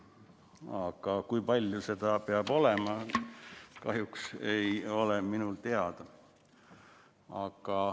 Aga kui palju seda peab olema, see kahjuks ei ole mul teada.